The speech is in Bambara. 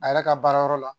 A yɛrɛ ka baarayɔrɔ la